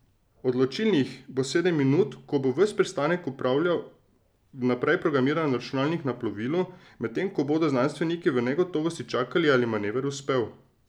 Odločilnih bo sedem minut, ko bo ves pristanek upravljal vnaprej programiran računalnik na plovilu, medtem ko bodo znanstveniki v negotovosti čakali, ali je manever uspel.